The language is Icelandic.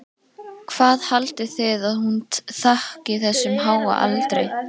Hvað haldið þið að hún þakki þessum háa aldri?